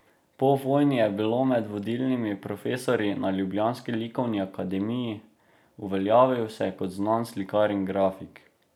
Po vojni je bil med vodilnimi profesorji na ljubljanski likovni akademiji, uveljavil se je kot znan slikar in grafik.